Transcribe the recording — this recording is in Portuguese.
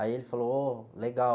Aí ele falou, ô, legal.